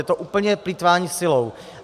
Je to úplně plýtvání silou.